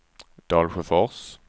Dalsjöfors